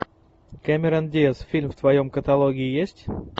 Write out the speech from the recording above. кэмерон диаз фильм в твоем каталоге есть